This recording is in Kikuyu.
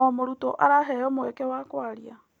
O mũrutwo araheo mweke a kũaria.